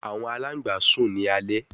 Awọn alangba sun ni alẹ